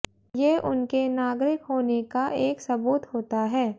ये उनके नागरिक होने का एक सबूत होता है